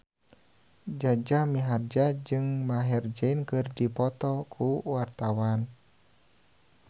Jaja Mihardja jeung Maher Zein keur dipoto ku wartawan